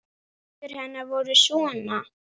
Tvær vísur hennar voru svona: